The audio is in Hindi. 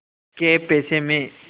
कै पैसे में